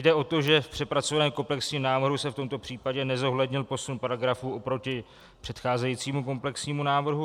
Jde o to, že v přepracovaném komplexním návrhu se v tomto případě nezohlednil posun paragrafu oproti předcházejícímu komplexnímu návrhu.